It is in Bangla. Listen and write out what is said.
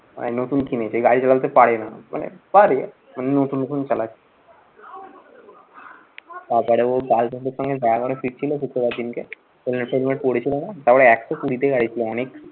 মানে নতুন কিনেছে, গাড়ি চালাতে পারে না। মানে পারে নতুন নতুন চালাচ্ছে। তারপরে ও girlfriend এর সঙ্গে দেখা করে ফিরছিলো শুক্রবার দিনকে helmet টেলমেট পরে ছিল না তারপরে একশো কুড়ি তে গাড়ি ছিল, অনেক